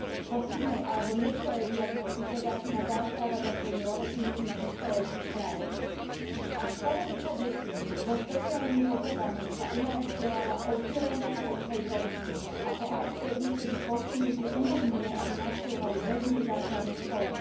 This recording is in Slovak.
Po chybnej alebo neskorej diagnostike začína zaostávať za svojimi rovesníkmi z vyspelejších krajín. Až polovica detí so špeciálnymi potrebami sa u nás vzdeláva oddelene od svojich rovesníkov a to aj vtedy, keď ich postihnutie umožňuje, aby navštevovali bežnú základnú školu.